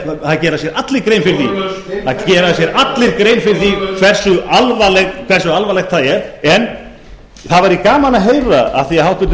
það gera sér allir grein fyrir því hversu alvarlegt það er en það væri gaman að heyra af því að háttvirtur